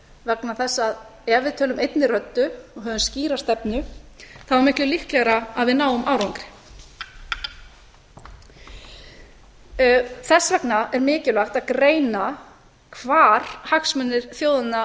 vegna þess að ef við tölum einni röddu og höfum skýra stefnu er miklu líklegra að við náum árangri þess vegna er mikilvægt að greina hvar hagsmunir þjóðanna